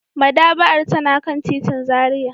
Madaba'ar tana kan titin Zaria.